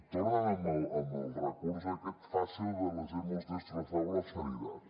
tornen al recurs aquest fàcil de les hemos destrozado la sanidad